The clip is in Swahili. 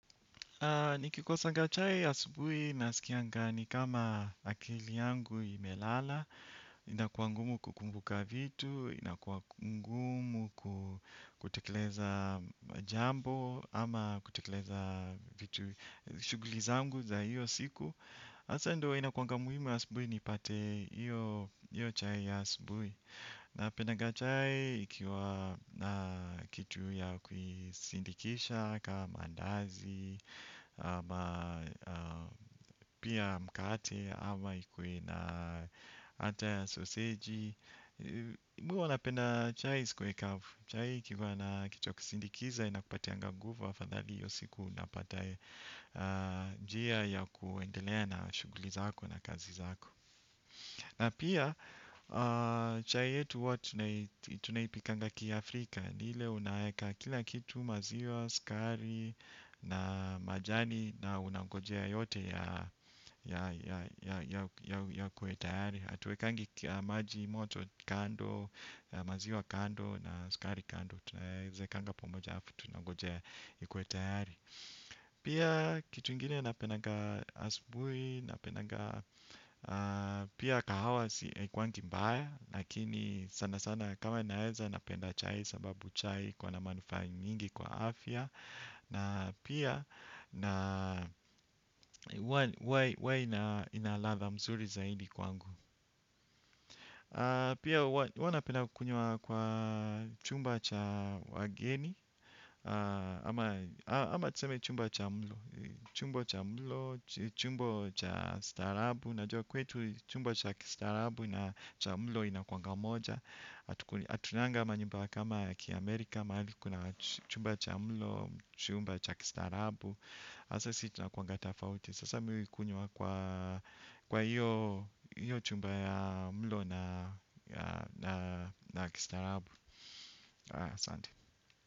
Nikikosanga chai ya asubui nasikianga ni kama akili yangu imelala, inakua ngumu kukumbuka vitu, inakua ngumu kutekeleza jambo ama kutekeleza vitu shughuli zangu za hiyo siku. Asa ndo inakuanga muhimu asubui nipate iyo chai ya asubui. Napendaga chai ikiwa na kitu ya kuisindikisha kama andazi ama pia mkate ama ikuwe na ata ya soseji Mi uwa napenda chai isikue kavu. Chai ikikuwa na kitu ya kusindikiza inakupatianga nguvu afadhali iyo siku unapata njia ya kuendelea na shughuli zako na kazi zako. Na pia, chai yetu hua tunaipikanga ki Afrika. Niile unaeka kila kitu maziwa, skari na majani na unangojea yote ya yakue tayari htuwekangi maji moto kando, maziwa kando na skari kando. Tunaezekanga pamoja hafu, tunagojea ikuwe tayari. Pia kitu ingine napenaga asubui napendanga. Pia kahawa si haikuangi mbaya. Lakini sana sana kama naeza napenda chai. Sababu chai iko na manufaa nyingi kwa afya. Na pia na ua inalatha mzuri zaidi kwangu. Pia ua napenda kukunyua kwa chumba cha wageni. Ama tuseme chumba cha mlo. Chumba cha mlo, chumba cha staarabu. Najua kwetu chumba cha kistaarabu na cha mlo inakwanga moja. Atunanga manyumba kama ya kiaAmerika. Mahali kuna chumba cha mlo, chumba cha kistaarabu. Asa si tunakuanga tafauti. Sasa mii uikunywa kwa hiyo chumba ya mlo na kistaarabu. Sante.